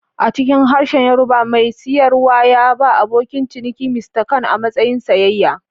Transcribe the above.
A cikin harshen Yorùbá, mai siyarwa ya ba abokin ciniki "Mr kan" a matsayin sayayya.